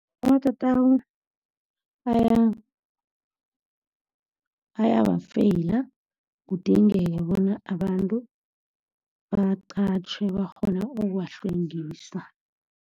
Amatatawu ayaba feyila, kudingeke bona abantu baqatjhwe bakghone ukuwahlwengisa.